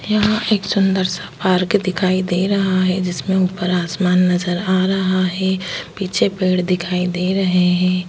यहां एक सुंदर सा पार्क दिखाई दे रहा है जिसमें ऊपर आसमान नजर आ रहा है पीछे पेड़ दिखाई दे रहे हैं।